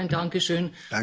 Auch dafür ein Dankeschön.